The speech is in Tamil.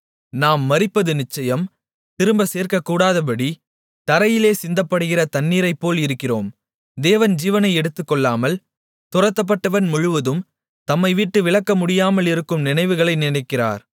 நாம் மரிப்பது நிச்சயம் திரும்பச் சேர்க்கக்கூடாதபடி தரையிலே சிந்தப்படுகிற தண்ணீரைப்போல் இருக்கிறோம் தேவன் ஜீவனை எடுத்துக்கொள்ளாமல் துரத்தப்பட்டவன் முழுவதும் தம்மைவிட்டு விலக்க முடியாமலிருக்கும் நினைவுகளை நினைக்கிறார்